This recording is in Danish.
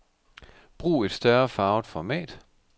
Brug et større farvet format.